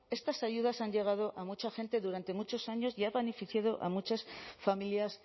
estas ayudas han llegado a mucha gente durante muchos años y ha beneficiado a muchas familias